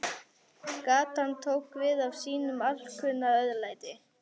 Gatan tók við af sínu alkunna örlæti.